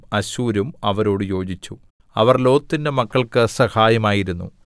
അശ്ശൂരും അവരോട് യോജിച്ചു അവർ ലോത്തിന്റെ മക്കൾക്ക് സഹായമായിരുന്നു സേലാ